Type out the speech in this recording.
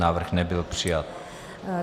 Návrh nebyl přijat.